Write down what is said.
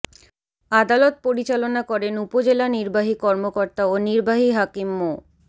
আদালত পরিচালনা করেন উপজেলা নির্বাহী কর্মকর্তা ও নির্বাহী হাকিম মো